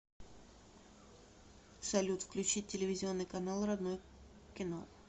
салют включить телевизионный канал родное кино